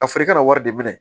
A fɔra i ka na wari de minɛ